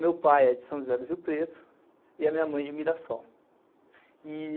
Meu pai é de São José do Rio Preto e a minha mãe de Mirasol.